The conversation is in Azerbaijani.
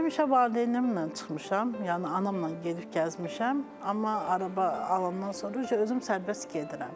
Həmişə valideynimlə çıxmışam, yəni anamla gedib gəzmişəm, amma araba alandan sonra özüm sərbəst gedirəm.